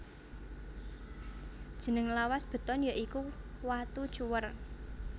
Jeneng lawas beton ya iku watu cuwèr